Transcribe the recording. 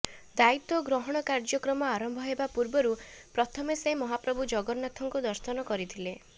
ଦାୟିତ୍ୱ ଗ୍ରହଣ କାର୍ଯ୍ୟକ୍ରମ ଆରମ୍ଭ ହେବା ପୂର୍ବରୁ ପ୍ରଥମେ ସେ ମହାପ୍ରଭୁ ଜଗନ୍ନାଥଙ୍କୁ ଦର୍ଶନ କରିଥିଲେ